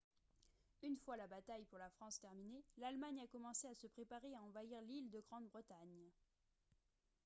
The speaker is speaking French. une fois la bataille pour la france terminée l'allemagne a commencé à se préparer à envahir l'île de grande-bretagne